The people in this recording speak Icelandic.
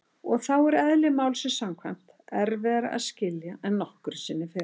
Og þá er- eðli málsins samkvæmt- erfiðara að skilja en nokkru sinni fyrr.